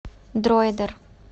дроидер